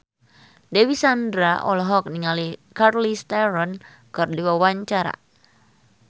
Dewi Sandra olohok ningali Charlize Theron keur diwawancara